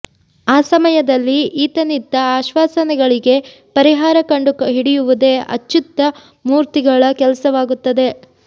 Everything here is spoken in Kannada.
ಆ ಸಮಯದಲ್ಲಿ ಈತನಿತ್ತ ಆಶ್ವಾಸನೆಗಳಿಗೆ ಪರಿಹಾರ ಕಂಡು ಹಿಡಿಯುವುದೇ ಅಚ್ಚ್ಯುತ ಮೂರ್ತಿಗಳ ಕೆಲಸವಾಗುತ್ತದೆ